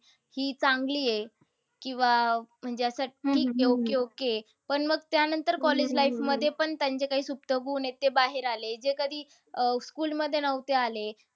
हि चांगली आहे. किंवा असं म्हणजे ठीक आहे, okey, okay. पण मग, त्यानंतर college life मध्ये पण त्यांचे काही सुप्तगुण आहेत. ते बाहेर आले. जे कधी school मध्ये नव्हते आले.